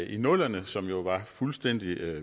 i nullerne som jo var fuldstændig